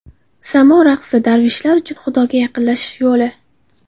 Samo raqsi - darveshlar uchun Xudoga yaqinlashish yo‘li.